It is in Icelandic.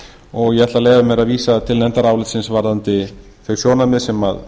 og ég ætla að leyfa mér að vísa til nefndarálitsins varðandi þau sjónarmið sem